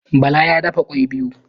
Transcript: Bala ya dafa kwai biyu